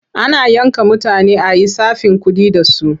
Ana yanka mutane a yi tsafin kuɗi da su.